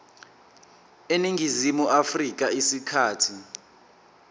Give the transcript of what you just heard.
eningizimu afrika isikhathi